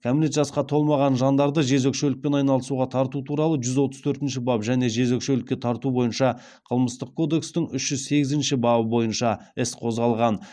кәмелет жасқа толмаған жандарды жезөкшелікпен айналысуға тарту туралы жүз отыз төртінші бап және жезөкшелікке тарту бойынша қылмыстық кодекстің үш жүз сегізінші бабы бойынша іс қозғалған